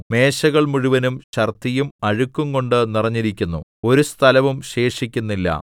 മേശകൾ മുഴുവനും ഛർദ്ദിയും അഴുക്കുംകൊണ്ടു നിറഞ്ഞിരിക്കുന്നു ഒരു സ്ഥലവും ശേഷിക്കുന്നില്ല